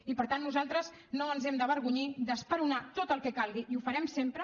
i per tant nosaltres no ens hem d’avergonyir d’esperonar tot el que calgui i ho farem sempre